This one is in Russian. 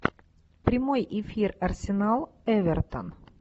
прямой эфир арсенал эвертон